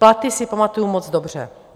Platy si pamatuju moc dobře.